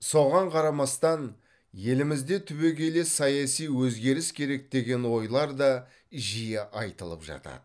соған қарамастан елімізде түбегейлі саяси өзгеріс керек деген ойлар да жиі айтылып жатады